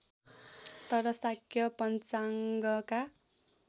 तर शाक्य पञ्चाङ्गका